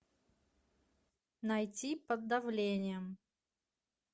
найти под давлением